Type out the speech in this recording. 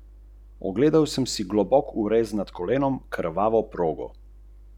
Predlog?